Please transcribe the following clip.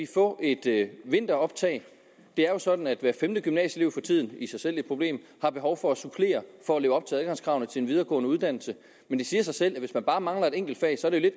få et vinteroptag det er jo sådan at hver femte gymnasieelev for tiden i sig selv et problem har behov for at supplere for at leve op til adgangskravene til en videregående uddannelse men det siger sig selv at hvis man bare mangler et enkelt fag så er det